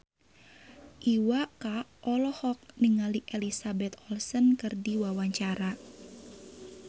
Iwa K olohok ningali Elizabeth Olsen keur diwawancara